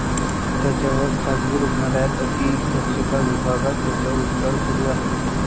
त्यांच्यावर खाजगी रुग्णालयात अतिदक्षता विभागात त्यांच्यावर उपचार सुरु आहेत.